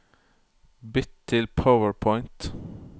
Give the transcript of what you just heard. Bytt til PowerPoint